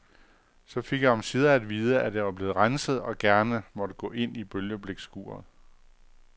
Så fik jeg omsider at vide, at jeg var blevet renset og gerne måtte gå ind i bølgeblikskuret.